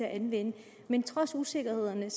at anvende men trods usikkerhederne